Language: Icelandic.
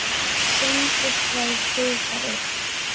Sindri Freyr hitar upp.